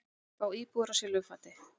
Fá íbúðir á silfurfati